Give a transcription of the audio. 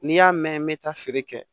N'i y'a mɛn n bɛ taa feere kɛ